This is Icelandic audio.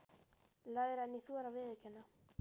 Lægra en ég þori að viðurkenna.